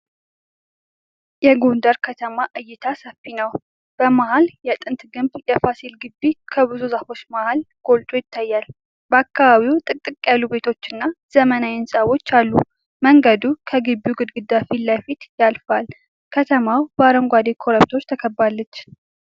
የጎንደር ከተማ እይታ ሰፊ ነው። በመሀል የጥንት ግንብ የፋሲል ግቢ ከብዙ ዛፎች መሀል ጎልቶ ይታያል። በአካባቢው ጥቅጥቅ ያሉ ቤቶችና ዘመናዊ ህንፃዎች አሉ። መንገዱ ከግቢው ግድግዳ ፊት ለፊት ያልፋል። ከተማዋ በአረንጓዴ ኮረብታዎች ተከባለች።